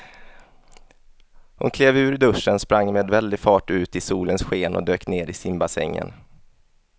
Hon klev ur duschen, sprang med väldig fart ut i solens sken och dök ner i simbassängen.